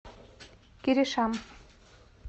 киришам